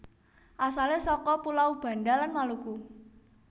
Asale saka pulau Banda lan Maluku